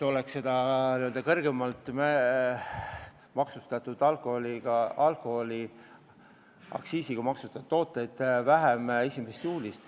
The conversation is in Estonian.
Enamik kauplusi saaks hinda alandada juba 1. juulist.